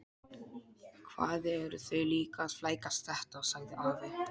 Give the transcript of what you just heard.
Hvað eru þau líka að flækjast þetta? sagði afi.